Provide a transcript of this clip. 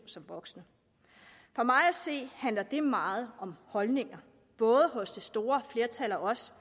som voksne for mig at se handler det meget om holdninger både hos det store flertal af os